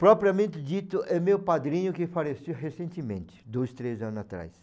Propriamente dito, é meu padrinho que faleceu recentemente, dois, três anos atrás.